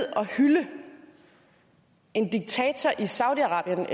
og hylde en diktator i saudi arabien